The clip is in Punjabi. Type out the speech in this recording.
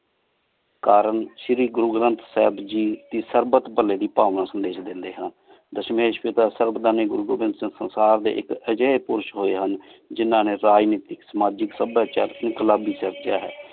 ਕਰਨ ਸ਼ੀਰੀ ਗੁਰੂ ਗਰੰਥ ਸਾਹੇਬ ਗੀ ਦੀ ਸਬ ਡੀ ਪਾਲੀ ਦੀ ਸੰਦੇਸ਼ ਦੇਂਦੀ ਹਨ ਦਸਮੇਸ਼ ਵੇਦਾਂ ਸਰ੍ਬੰਡ ਗੁਰੂ ਗਰੰਥ ਸੰਸਾਰ ਡੀ ਇਕ ਅਜੇਹ ਪੁਰਸ਼ ਹੋਏ ਹਨ ਜਿਨਾਹ ਨੀ ਰਾਜ ਨਿਤਿਕ ਸਮਾਜਿਕ ਸਬ ਦਾ ਚਰਚਾ ਇੰਕ਼ਲਾਬੀ ਚਰਚ ਹੈ